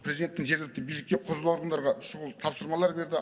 президенттің жергілікті билікке құзырлы органдарға шұғыл тапсырмалар берді